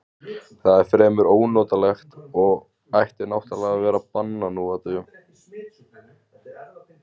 Það er fremur ónotalegt og ætti náttúrlega að vera bannað nú á dögum.